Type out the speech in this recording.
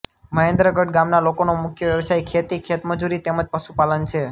મહેન્દ્રગઢ ગામના લોકોનો મુખ્ય વ્યવસાય ખેતી ખેતમજૂરી તેમ જ પશુપાલન છે